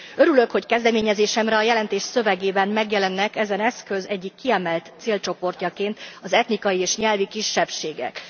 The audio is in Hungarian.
Örülök, hogy kezdeményezésemre a jelentés szövegében megjelennek ezen eszköz egyik kiemelt célcsoportjaként az etnikai és nyelvi kisebbségek.